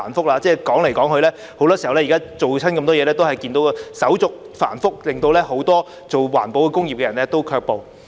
說來說法，很多時候，凡是推出措施時，我們也看見手續繁複，令很多從事環保工業的人士卻步。